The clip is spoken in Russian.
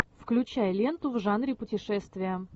включай ленту в жанре путешествия